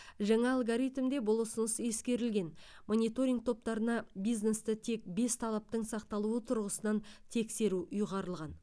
жаңа алгоритмде бұл ұсыныс ескерілген мониторинг топтарына бизнесті тек бес талаптың сақталуы тұрғысынан тексеру ұйғарылған